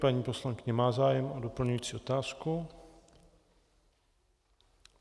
Paní poslankyně má zájem o doplňující otázku.